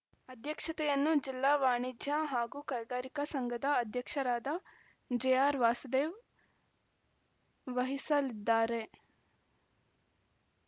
ಅಧ್ಯಕ್ಷತೆಯನ್ನು ಜಿಲ್ಲಾ ವಾಣಿಜ್ಯ ಹಾಗು ಕೈಗಾರಿಕಾ ಸಂಘದ ಅಧ್ಯಕ್ಷರಾದ ಜೆಆರ್‌ ವಾಸುದೇವ್‌ ವಹಿಸಲಿದ್ದಾರೆ